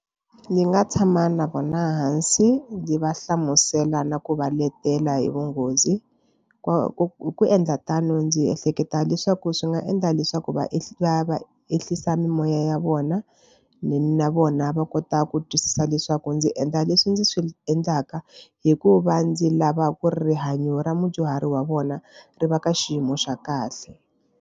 Ni nga tshama na vona hansi ndzi va hlamusela na ku va letela hi vunghozi ku ku hi ku endla tano ndzi ehleketa leswaku swi nga endla leswaku va va va ehlisa moya ya vona na vona va kota ku twisisa leswaku ndzi endla leswi ndzi swi endlaka hikuva ndzi lava ku rihanyo ra mudyuhari wa vona ri va ka xiyimo xa kahle.